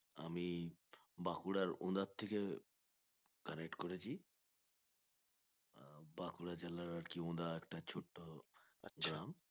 আমি বাঁকুড়ার ওন্দা থেকে connect করেছি আহ বাঁকুড়া জেলার আর কি ওন্দা একটা ছোট্ট গ্রাম